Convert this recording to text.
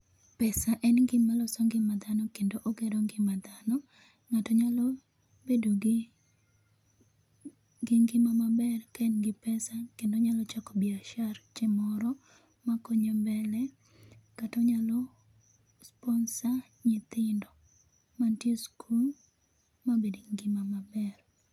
pes a en gima loso ngima dhano kendo ogero ngima ndano. Ng'ato nyalo bedo gi gi ngima maber ka en gi pesa kendo onyalo chako biashache chieng moro makonye mbele kata onyalo sponsor nyitindo mantie e skul mabed gi ngima maber